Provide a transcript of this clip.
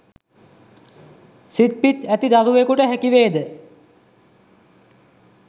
සිත් පිත් ඇති දරුවකුට හැකිවේද?